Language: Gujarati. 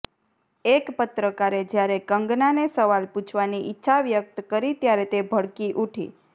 એક પત્રકારે જ્યારે કંગનાને સવાલ પૂછવાની ઈચ્છા વ્યક્ત કરી ત્યારે તે ભડકી ઉઠી